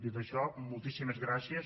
dit això moltíssimes gràcies